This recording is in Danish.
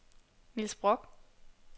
Niels Brock